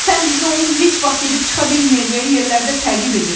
Sən bizi onun heç vaxt gedib çıxa bilməyəcəyi yerlərdə təqib edirsən.